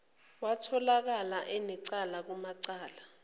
watholakala enecala kumacala